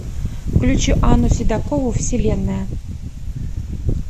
включи анну седокову вселенная